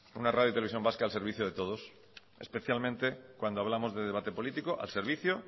vasca al servicio de todos especialmente cuando hablamos de debate político al servicio